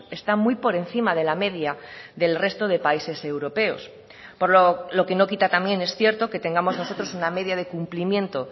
está muy por encima de la media del resto de países europeos por lo que no quita también es cierto que tengamos nosotros una media de cumplimiento